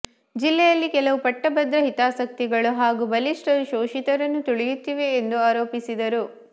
ಜಿಲ್ಲೆಯಲ್ಲಿ ಕೆಲವು ಪಟ್ಟಭದ್ರ ಹಿತಾಸಕ್ತಿಗಳು ಹಾಗೂ ಬಲಿಷ್ಠರು ಶೋಷಿತರನ್ನು ತುಳಿಯುತ್ತಿವೆ ಎಂದು ಆರೋಪಿಸಿದರು